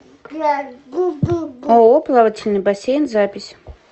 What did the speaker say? ооо плавательный бассейн запись